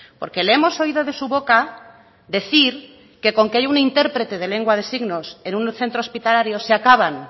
porque le hemos oído de su boca decir que con que haya una intérprete de lengua de signos en un centro hospitalario se acaban